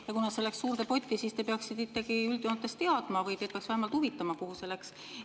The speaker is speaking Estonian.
Ja kuna see läks suurde potti, siis te peaksite ikkagi üldjoontes teadma või teid peaks vähemalt huvitama, kuhu see läks.